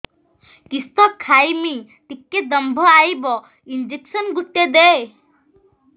କିସ ଖାଇମି ଟିକେ ଦମ୍ଭ ଆଇବ ଇଞ୍ଜେକସନ ଗୁଟେ ଦେ